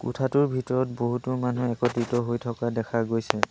কোঠাটোৰ ভিতৰত বহুতো মানুহ একত্ৰিত হৈ থকা দেখা গৈছে।